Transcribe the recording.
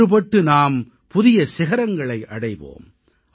ஒன்றுபட்டு நாம் புதிய சிகரங்களை அடைவோம்